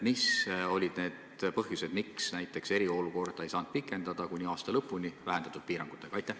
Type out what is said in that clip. Mis olid need põhjused, miks eriolukorda ei saanud pikendada näiteks aasta lõpuni vähendatud piirangutega?